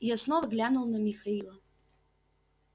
я снова глянул на михаила